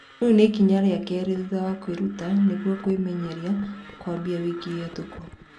Rĩu nĩ ikinya rĩa keerĩ thutha wa kũĩruta nĩgũo kũĩmenyeria kũambia wiki hetũku.